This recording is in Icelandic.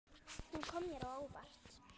Hún kom mér á óvart.